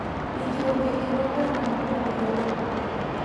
Winjruok e kind oganda mopogore opogore.